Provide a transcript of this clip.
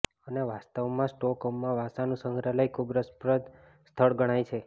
અને વાસ્તવમાં સ્ટોકહોમમાં વાસાનું સંગ્રહાલય ખૂબ રસપ્રદ સ્થળ ગણાય છે